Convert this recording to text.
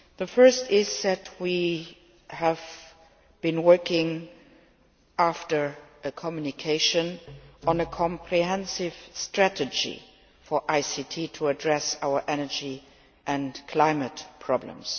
Firstly, we have been working on a communication on a comprehensive strategy for ICT to address our energy and climate problems.